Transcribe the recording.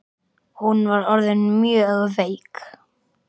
Hún var orðin mjög veik.